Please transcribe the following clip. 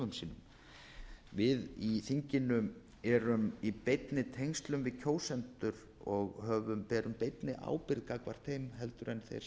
í störfum sínum við í þinginu erum í beinni tengslum við kjósendur og höfum berum einnig ábyrgð gagnvart þeim heldur en þeim sem